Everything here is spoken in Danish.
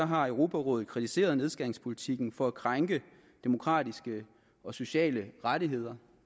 har europarådet kritiseret nedskæringspolitikken for at krænke demokratiske og sociale rettigheder